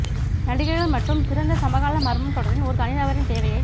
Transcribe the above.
நடிகர்கள் மற்றும் சிறந்த சமகால மர்மம் தொடரின் ஒரு தனிநபரின் தேவையைப்